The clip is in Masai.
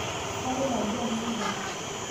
kaloito aji anya endaa